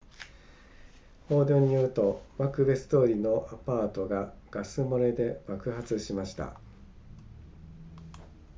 報道によるとマクベス通りのアパートがガス漏れで爆発しました